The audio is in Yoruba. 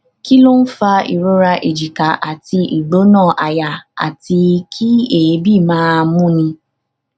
kí ló ń fa ìrora èjìká àti igbona aya àti kí eebi máa múni